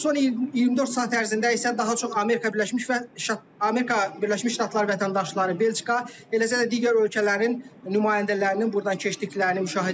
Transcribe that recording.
Son 24 saat ərzində isə daha çox Amerika Birləşmiş Ştatları vətəndaşları, Belçika, eləcə də digər ölkələrin nümayəndələrinin burdan keçdiklərini müşahidə edirik.